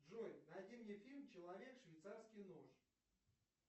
джой найди мне фильм человек швейцарский нож